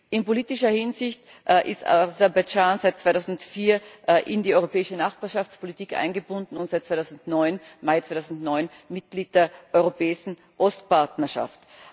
In politischer Hinsicht ist Aserbaidschan seit 2004 in die Europäische Nachbarschaftspolitik eingebunden und seit Mai 2009 Mitglied der Europäischen Ostpartnerschaft.